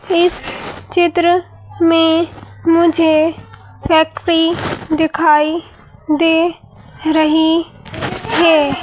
इस चित्र में मुझे फैक्ट्री दिखाई दे रही है।